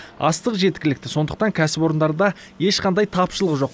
астық жеткілікті сондықтан кәсіпорындарда ешқандай тапшылық жоқ